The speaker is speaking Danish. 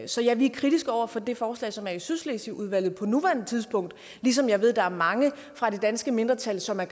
så ja vi er kritiske over for det forslag som ligger i sydslesvigudvalget på nuværende tidspunkt ligesom jeg ved at der er mange fra det danske mindretal som af